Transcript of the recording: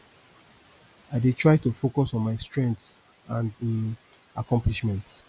i dey try to focus on my strengths and um accomplishments